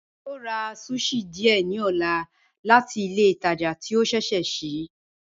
Ẹ̀mi yó rà sushi díẹ̀ ní ọ̀là láti ilẹ̀ ìtàjà tí o ṣẹṣẹ́ ṣii